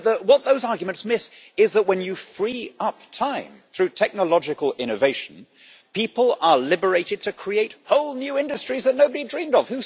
But what those arguments miss is that when you free up time through technological innovation, people are liberated to create whole new industries that nobody dreamed of.